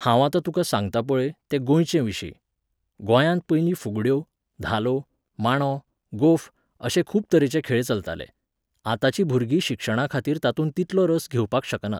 हांव आता तुका सांगतां पळय, ते गोंयचेविशीं.गोंयांत पयलीं फुगड्यो, धालो, मांडो, गोफ, अशे खूब तरेचे खेळ चलताले. आताची भुरगीं शिक्षणाखातीर तातूंत तितलो रस घेवपाक शकनात.